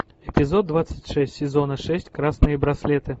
эпизод двадцать шесть сезона шесть красные браслеты